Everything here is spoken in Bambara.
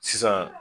Sisan